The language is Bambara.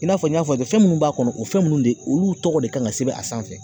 I n'a fɔ n y'a fɔ fɛn minnu b'a kɔnɔ o fɛn ninnu de olu tɔgɔ de kan ka sɛbɛn a sanfɛ